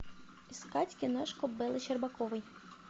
искать киношку беллы щербаковой